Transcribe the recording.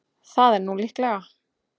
Það er nú líklega.